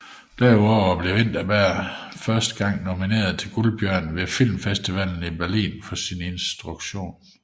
Derudover blev Vinterberg blev første gang nomineret til Guldbjørnen ved Filmfestivalen i Berlin for sin instruktion